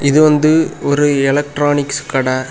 இது வந்து ஒரு எலக்ட்ரானிக்ஸ் கட.